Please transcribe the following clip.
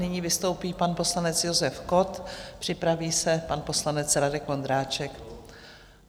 Nyní vystoupí pan poslanec Josef Kott, připraví se pan poslanec Radek Vondráček.